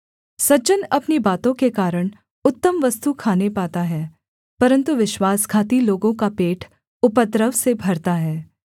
सज्जन अपनी बातों के कारण उत्तम वस्तु खाने पाता है परन्तु विश्वासघाती लोगों का पेट उपद्रव से भरता है